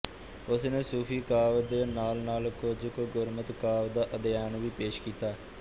ਉਸਨੇ ਸੂਫੀ ਕਾਵਿ ਦੇ ਨਾਲਨਾਲ ਕੁਝ ਕੁ ਗੁਰਮਤਿ ਕਾਵਿ ਦਾ ਅਧਿਐਨ ਵੀ ਪੇਸ਼ ਕੀਤਾ